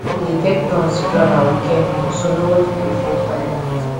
we dey take turns to plan our weekend meals so nobodi go feel tired